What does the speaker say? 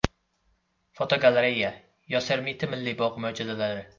Fotogalereya: Yosemite Milliy bog‘i mo‘jizalari.